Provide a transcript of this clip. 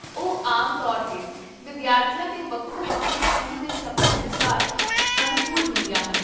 ਉਹ ਆਮ ਤੌਰ 'ਤੇ ਵਿਦਿਆਰਥੀਆਂ ਦੇ ਵੱਖੋ ਵੱਖਰੇ ਸਕੂਲ ਦੇ ਸਮੇਂ ਅਨੁਸਾਰ ਅਨੁਕੂਲ ਹੁੰਦੀਆਂ ਹਨ